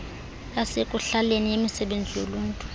yasekuhlaleni yemisebenzi yoluntu